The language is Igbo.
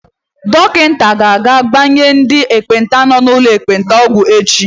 Dọkịta ga-aga ịgbanye ndị ekpenta nọ n'ụlọ ekpenta ọgwụ echi.